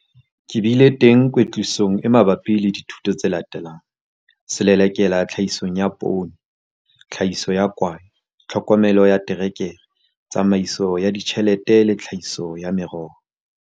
Ke bile teng kwetlisong e mabapi le dithuto tse latelang- Selelekela Tlhahisong ya Poone, Tlhahiso ya Kwae, Tlhokomelo ya Terekere, Tsamaiso ya Ditjhelete le Tlhahiso ya Meroho.